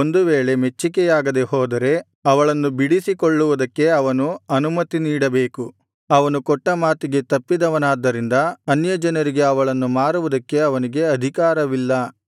ಒಂದು ವೇಳೆ ಮೆಚ್ಚಿಕೆಯಾಗದೆ ಹೋದರೆ ಅವಳನ್ನು ಬಿಡಿಸಿ ಕೊಲ್ಲುವುದಕ್ಕೆ ಅವನು ಅನುಮತಿ ನೀಡಬೇಕು ಅವನು ಕೊಟ್ಟ ಮಾತಿಗೆ ತಪ್ಪಿದವನಾದ್ದರಿಂದ ಅನ್ಯಜನರಿಗೆ ಅವಳನ್ನು ಮಾರುವುದಕ್ಕೆ ಅವನಿಗೆ ಅಧಿಕಾರವಿಲ್ಲ